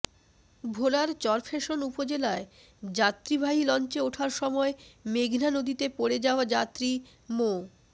ভোলার চরফ্যাশন উপজেলায় যাত্রীবাহি লঞ্চে ওঠার সময় মেঘনা নদীতে পড়ে যাওয়া যাত্রী মো